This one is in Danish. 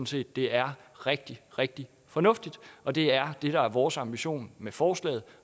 set det er rigtig rigtig fornuftigt og det er det der er vores ambition med forslaget